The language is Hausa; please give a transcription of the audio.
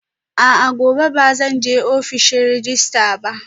A'a, gobe ba zan je ofishin rejista ba